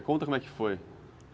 Conta como é que foi.